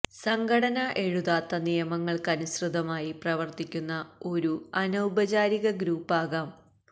സംഘടന എഴുതാത്ത നിയമങ്ങൾക്കനുസൃതമായി പ്രവർത്തിക്കുന്ന ഒരു അനൌപചാരിക ഗ്രൂപ്പ് ആകാം